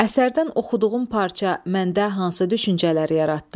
Əsərdən oxuduğum parça məndə hansı düşüncələri yaratdı?